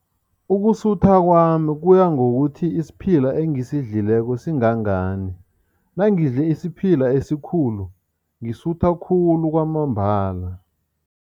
Ukusutha kwami kuya ngokuthi isiphila engisidlileko singangani nangidle isiphila esikhulu, ngisutha khulu kwamambala.